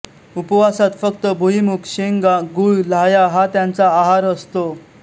उपवसात फक्त भुईमूग शेंगा गूळ लाह्या हा त्यांचा आहार असतो